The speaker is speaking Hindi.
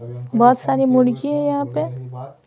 बहुत सारी मुड़गी है यहां पे --